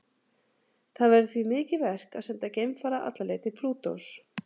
Það verður því mikið verk að senda geimfara alla leið til Plútós.